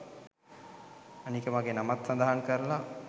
අනික මගේ නමත් සදහන් කරලා